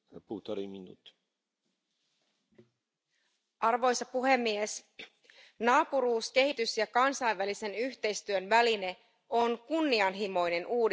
Arvoisa puhemies, naapuruus kehitys ja kansainvälisen yhteistyön väline on kunnianhimoinen uudistus Euroopan unionin ulkosuhderahoitukseksi.